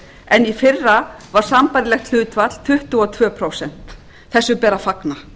en í fyrra var sambærilegt hlutfall tuttugu og tvö prósent þessu ber að fagna